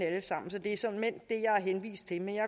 alle sammen så det er såmænd det jeg har henvist til men jeg